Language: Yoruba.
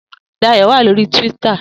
Dayo wá lóri túwìtá